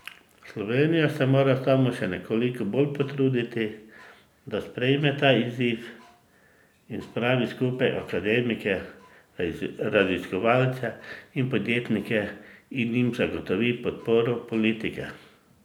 Slovenija se mora samo še nekoliko bolj potruditi, da sprejme ta izziv in spravi skupaj akademike, raziskovalce in podjetnike in jim zagotovi podporo politike.